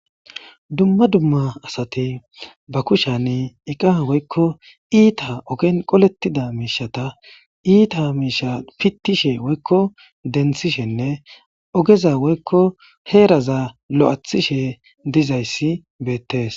Dumma dumma asati ba kushani iqa woykko iita ogen qolettida miishata iita miisha pittishe woykko denthishenne ogeza woykko heeraza lo7athishe dizayssi beettes.